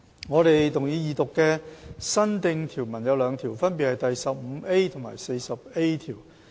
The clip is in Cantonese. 我們動議二讀的新訂條文有兩條，分別是第 15A 及 40A 條。